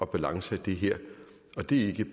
balance i det her og det er ikke